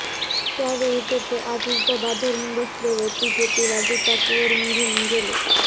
त्यावेळी तिथे आधीच दबा धरून बसलेले तिघे तिला दुचाकीवरून घेऊन गेले